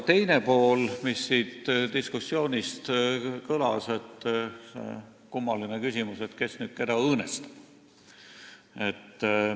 Teine asi, mis siit diskussioonist kõlama jäi, on see kummaline küsimus, et kes nüüd keda õõnestab.